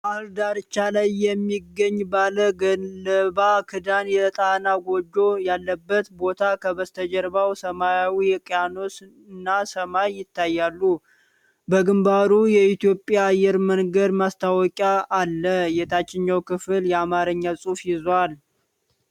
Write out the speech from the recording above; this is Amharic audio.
ባሕር ዳርቻ ላይ የሚገኝ፣ ባለገለባ ክዳን የጣና ጎጆ ያለበት ቦታ ከበስተጀርባው ሰማያዊ ውቅያኖስና ሰማይ ይታያሉ። በግንባሩ የኢትዮጵያ አየር መንገድ ማስታወቂያ አለ። የታችኛው ክፍል የአማርኛ ጽሑፍን ይዟል።